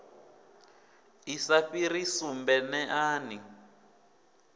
i sa fhiri sumbe neani